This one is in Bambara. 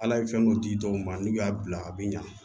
Ala ye fɛn dɔ di dɔw ma n'u y'a bila a bi ɲa